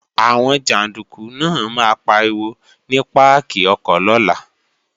Àwọn jàndúkú náà máa pariwo ní páàkì ọkọ̀ lọ́la